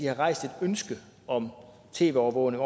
har rejst et ønske om tv overvågning